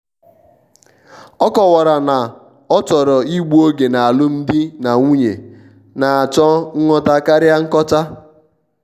ọ kọwara na ọ chọrọ igbu oge n' alụmdi na nwunyena-achọ nghọta karịa nkocha.